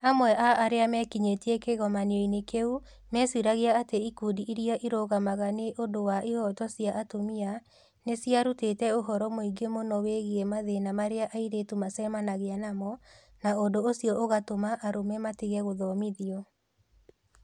Amwe a arĩa mekinyĩtie kĩgomano-inĩ kĩu meciragia atĩ ikundi iria irũgamaga nĩ ũndũ wa ihooto cia atumia nĩ ciarutĩte ũhoro mũingĩ mũno wĩgiĩ mathĩna marĩa airĩtu macemanagia namo, na ũndũ ũcio ũgatũma arũme matige gũthomithio.